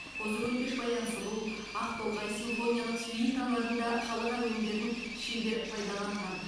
қозы көрпеш баян сұлу ақтолғай симфониялық сюиталарында халық әуендерін шебер пайдаланған